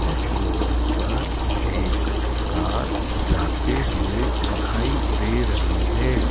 उस रोड पर एक कार जाते हुए दिखाई दे रही है।